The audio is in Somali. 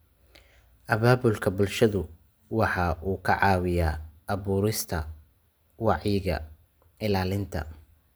Abaabulka bulshadu waxa uu ka caawiyaa abuurista wacyiga ilaalinta.